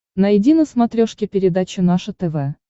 найди на смотрешке передачу наше тв